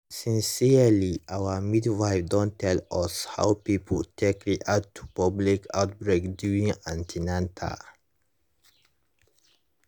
sincerely our midwife don tell us how people take react to public outbreak during an ten atal